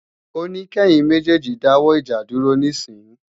Ó ní kẹ́yin méjèèjì dáwọ́ ìjà dúró níìsín!